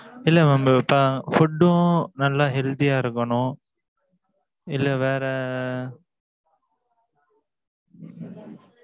இல்லை, mam தோ இப்ப food ம், நல்ல healthy யா இருக்கணும். இல்லை, வேற